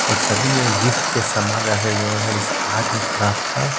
और सभी में गिफ्ट के सामान रखे गए हैं जैसे आर्ट एंड क्राफ्ट का।